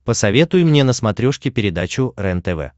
посоветуй мне на смотрешке передачу рентв